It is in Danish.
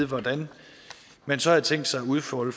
hvordan man så har tænkt sig at udfolde